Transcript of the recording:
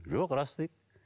жоқ рас дейді